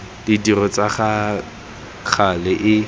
ditiro tsa ka gale e